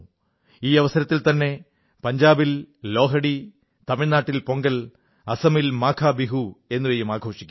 ഈ അവസരത്തിൽത്തന്നെ പഞ്ചാബിൽ ലോഹ്ഡി തമിഴ്നാട്ടിൽ പൊങ്കൽ അസമിൽ മാഘബിഹു എന്നിവയും ആഘോഷിക്കും